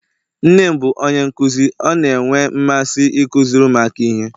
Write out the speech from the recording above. nne m bụ onye nkuzi, ọ na-enwe mmasị ịkụziri ụmụaka ihe